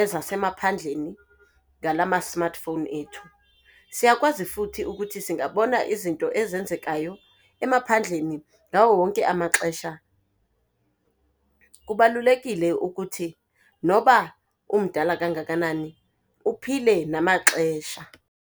ezasemaphandleni ngala ma-smartphone ethu, siyakwazi futhi ukuthi singabona izinto ezenzekayo emaphandleni ngawo wonke amaxesha. Kubalulekile ukuthi noba umdala kangakanani uphile namaxesha.